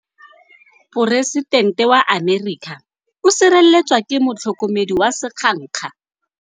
Poresitêntê wa Amerika o sireletswa ke motlhokomedi wa sengaga.